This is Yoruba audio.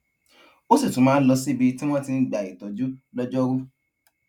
ó sì tún máa ń lọ síbi tí wón ti ń gba ìtójú lójó rú